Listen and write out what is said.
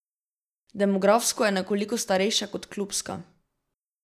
Demografsko je nekoliko starejša kot klubska.